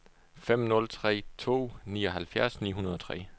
fem nul tre to nioghalvfjerds ni hundrede og tre